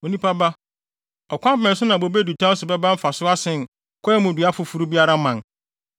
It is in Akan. “Onipa ba, ɔkwan bɛn so na bobe dutan so bɛba mfaso asen kwae mu dua foforo biara mman?